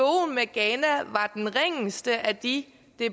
den ringeste af de